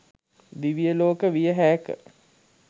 දිව්ය ලෝක විය හෑක.